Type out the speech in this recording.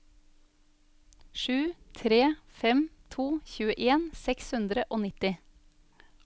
sju tre fem to tjueen seks hundre og nitti